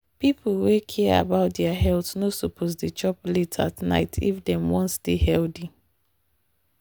people wey care about their health no suppose dey chop late at night if dem wan stay healthy.